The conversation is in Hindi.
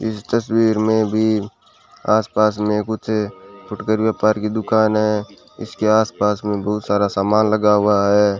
इस तस्वीर में भी आसपास में कुछ फुटकर व्यापार की दुकान है इसके आसपास में बहुत सारा सामान लगा हुआ है।